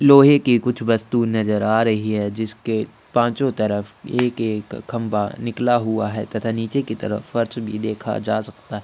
लोहे की कुछ वस्तु नजर आ रही है जिसके पांचो तरफ एक एक खम्भा निकला हुआ है तथा नीचे की तरफ फर्श भी देखा जा सकता है |